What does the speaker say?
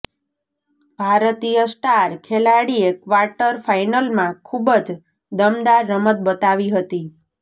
ભારતીય સ્ટાર ખેલાડીએ ક્વાર્ટર ફાઈનલમાં ખૂબ જ દમદાર રમત બતાવી હતી